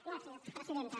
gràcies presidenta